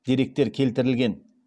деректер келтірілген